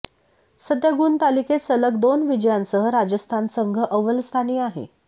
सध्या गुणतालिकेत सलग दोन विजयांसह राजस्थान संघ अव्वलस्थानी आहे